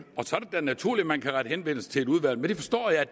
da naturligt at man kan rette henvendelse til et udvalg men det forstår jeg